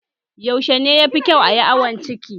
Yaushe ne yafi kyau ayi awon ciki?